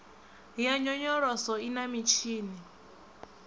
ya nyonyoloso i na mitshini